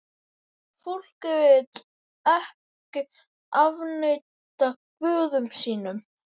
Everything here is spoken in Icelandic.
Fólkið vill ekki afneita guðum sínum.